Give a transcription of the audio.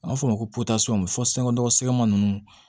An b'a fɔ o ma ko fɔ sɛgɛnkodɔgɔsɛma ninnu